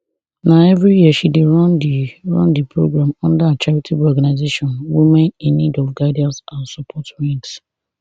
na evri year she dey run di run di programme under her charitable organisation women in need of guidance and support wings